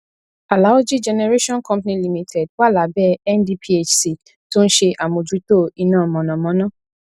alaoji cs] generation company limited wà lábẹ ndphc tó ń ṣe àmójútó iná mọnamọná